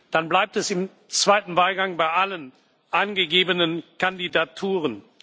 Dann bleibt es im zweiten Wahlgang bei allen angegebenen Kandidaturen.